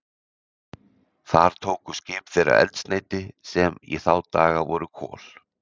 Þar tóku skip þeirra eldsneyti, sem í þá daga voru kol.